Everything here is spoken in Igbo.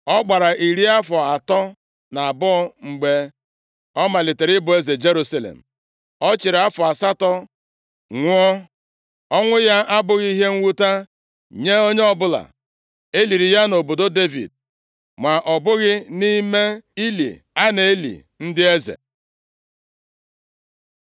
Ọ gbara iri afọ atọ na abụọ mgbe ọ malitere ịbụ eze Jerusalem. Ọ chịrị afọ asatọ nwụọ. Ọnwụ ya abụghị ihe mwute nye onye ọbụla. E liri ya nʼobodo Devid ma ọ bụghị nʼime ili a na-eli ndị eze.